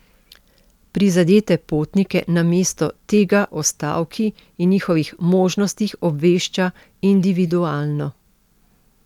Prizadete potnike namesto tega o stavki in njihovih možnostih obvešča individualno.